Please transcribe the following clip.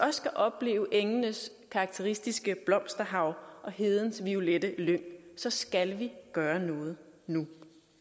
opleve engenes karakteristiske blomsterhav og hedens violette lyng så skal vi gøre noget nu